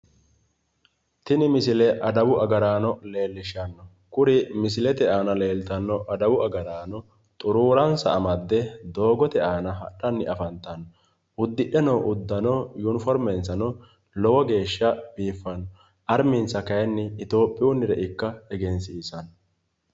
Tini misile adawu agarano lellishano kuri misilete aana leelitano adawu agaraano xuuruuransa amadde doogoote aana hadhani afanitano udidhe noo uddano uniformensano lowo geeshsha biiffano arminsa kaayini Ethiophiyunire ikka egensisano